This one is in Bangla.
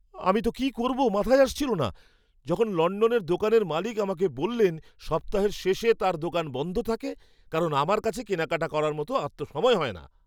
আমি তো কী করবো মাথায় আসছিল না যখন লণ্ডনের দোকানের মালিক আমাকে বললেন সপ্তাহের শেষে তাঁর দোকান বন্ধ থাকে, কারণ আমার কাছে কেনাকাটা করার মতো আর তো সময় হয় না।